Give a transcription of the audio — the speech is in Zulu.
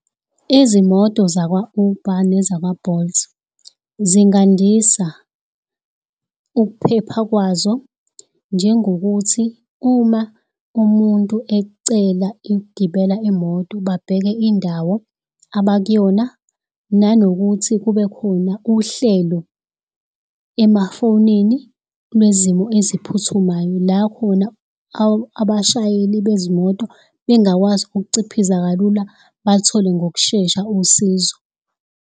Izimoto zakwa-Uber nezakwa-Bolt zingandisa ukuphepha kwazo njengokuthi uma umuntu ecela ukugibela imoto babheke indawo abakuyona, nanokuthi kube khona uhlelo emafonini lwezimo eziphuthumayo la khona abashayeli bezimoto, bengakwazi ukuciphiza kalula bathole ngokushesha usizo.